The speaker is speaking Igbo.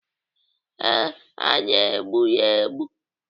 Ee, ha na-egbu ya egbu.